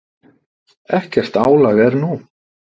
Ekkert álag er nú.